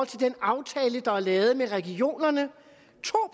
den aftale der er lavet med regionerne to